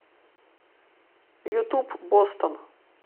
ютуб бостон